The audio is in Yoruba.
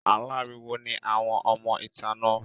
Aláriwo ni àwọn ọmọ ìta náà.